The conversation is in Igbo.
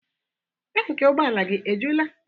Tanki ụgbọala gị ejula?